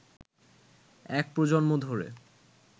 এক প্রজন্ম ধরে